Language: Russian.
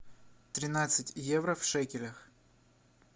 тринадцать евро в шекелях